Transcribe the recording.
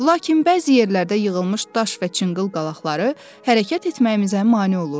Lakin bəzi yerlərdə yığılmış daş və çınqıl qalaqları hərəkət etməyimizə mane olurdu.